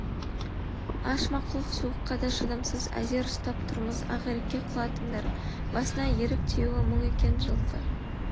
аш мақұлық суыққа да шыдамсыз әзер ұстап тұрмыз ақирекке құлатыңдар басына ерік тиюі мұң екен жылқы